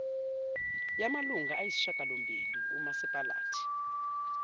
yamalunga ayisishiyagalombili umasipalati